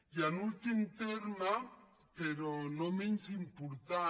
i en últim terme però no menys important